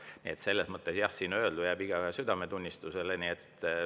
Nii et selles mõttes, jah, siin öeldu jääb igaühe südametunnistusele.